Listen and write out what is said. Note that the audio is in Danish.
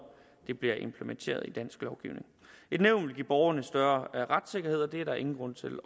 det bliver implementeret i dansk lovgivning et nævn vil give borgerne større retssikkerhed og det er der ingen grund til